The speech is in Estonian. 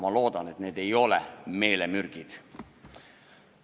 Ma loodan, et need ei ole meelemürgid.